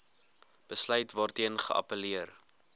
besluit waarteen geappelleer